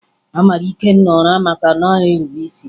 A mara Ikenna ụra maka na ọ naghị erube isi